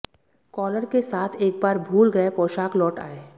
collar के साथ एक बार भूल गए पोशाक लौट आए